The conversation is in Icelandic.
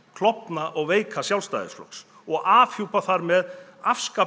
klofna og veika Sjálfstæðisflokks og afhjúpa þar með